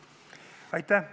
Aitäh!